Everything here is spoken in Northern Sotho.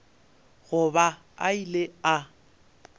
go ba a ile a